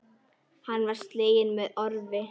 Hann var sleginn með orfi.